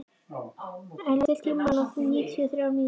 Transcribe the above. Elea, stilltu tímamælinn á níutíu og þrjár mínútur.